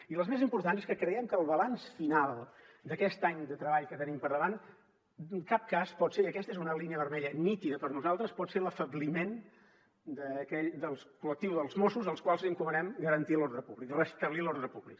i les més importants és que creiem que el balanç final d’aquest any de treball que tenim per davant en cap cas pot ser i aquesta és una línia vermella nítida per nosaltres l’afebliment del col·lectiu dels mossos al qual li encomanem garantir l’ordre públic restablir l’ordre públic